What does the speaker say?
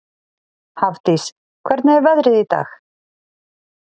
Hafdís, hvernig er veðrið í dag?